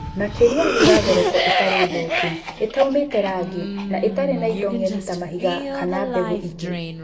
Makĩlia thura thoroko ĩtarĩ thũku, ĩtaumĩte rangi na ĩtarĩ na indo ng'eni ta mahiga kana mbegũ ingĩ